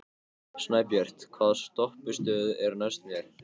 Snæbjört, hvaða stoppistöð er næst mér?